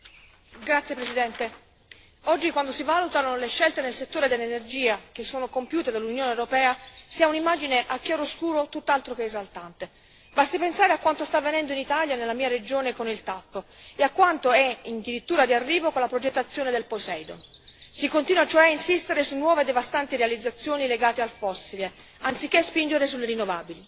Signor Presidente, onorevoli colleghi, oggi quando si valutano le scelte nel settore dell'energia che sono compiute dall'Unione europea si ha un'immagine in chiaroscuro tutt'altro che esaltante, basti pensare a quanto sta avvenendo in Italia, nella mia regione, con il TAP e a quanto è in dirittura di arrivo con la progettazione del Poseidon si continua cioè a insistere su nuove devastanti realizzazioni legate al fossile anziché spingere sulle rinnovabili.